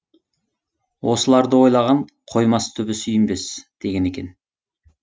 осыларды ойлаған қоймас түбі сүйінбей деген екен